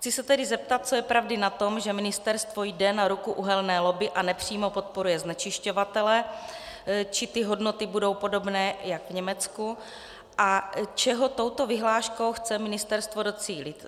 Chci se tedy zeptat, co je pravdy na tom, že ministerstvo jde na ruku uhelné lobby a nepřímo podporuje znečišťovatele, či ty hodnoty budou podobné jako v Německu a čeho touto vyhláškou chce ministerstvo docílit.